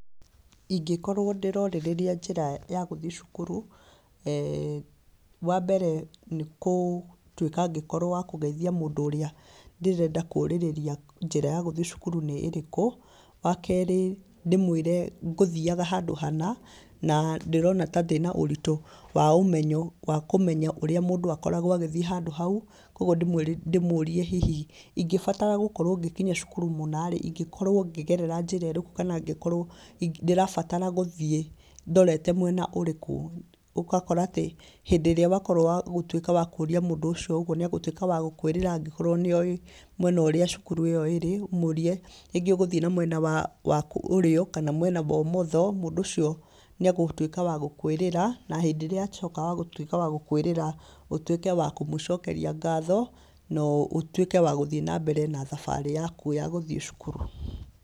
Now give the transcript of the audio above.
Ingĩkorwo ndĩrorĩrĩria njĩra ya gũthiĩ cukuru, wambere nĩgũtuĩka wa kũgeithia mũndũ ũrĩa ndĩrenda kũrĩrĩria njĩra ya gũthiĩ cũkuru nĩ ĩrĩkũ. Wakerĩ, ndĩmwĩre ngũthiaga handũ hana, na ndĩrona ta ndĩna ũritũ wa ũmenyo wa kũmenya ũrĩa mũndũ akoragwo agĩthiĩ handũ hau, koguo ndĩmũrie hihi ingĩbatara gũkinya cukuru mũna-rĩ, ingĩkorwo ngĩgerera njĩra ĩrĩkũ, kana ngĩkorwa ndĩrabatara gũthiĩ ndorete mwena ũrĩkũ? Ũgakora atĩ, hĩndĩ ĩrĩa wakorwo wa kũria mũndũ ũcio ũguo, nĩ agũtũĩka wa gũkũĩrĩra angĩkorwo nĩoĩ mwena ũrĩa cukuru ĩyo ĩrĩ, ũmũrie rĩngĩ ũgũthiĩ namwena waku wa ũrĩo kana mwena wa ũmotho, mũndũ ũcio nĩ agũtuĩka wa gũkũĩrĩra, na hĩndĩ ĩrĩa atuĩka wa gũkũĩrĩra ũtuĩke wa kũmũcokeria ngatho, na ũtuĩke wa gũthiĩ nambere na thabarĩ yaku ya gũthiĩ cukuru.